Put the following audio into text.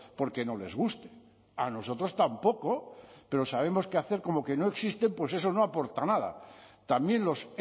porque no les guste a nosotros tampoco pero sabemos que hacer como que no existe pues eso no aporta nada también los